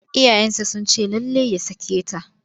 Iyayensa sun ce lallai ya sake ta.